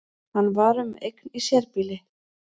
Hann var um eign í sérbýli